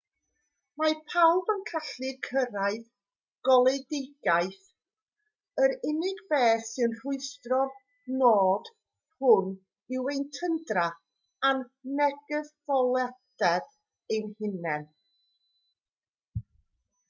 mae pawb yn gallu cyrraedd goleuedigaeth yr unig beth sy'n rhwystro'r nod hwn yw ein tyndra a'n negyddoldeb ein hunain